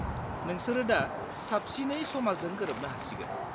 -नोंसोरो दा साबसिनै समाजजों गोरोबनो हासिगोन।